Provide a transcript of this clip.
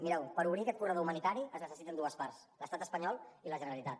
mireu per obrir aquest corredor humanitari es necessiten dues parts l’estat espanyol i la generalitat